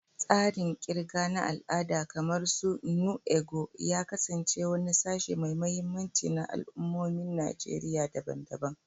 Tsarin ƙirga na al'ada, kamar "nnu ego," ya kasance wani sashe mai mahimmanci na al'ummomin Najeriya daban-daban.